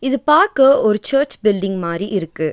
இது பாக்க ஒரு சர்ச் பில்டிங் மாரி இருக்கு.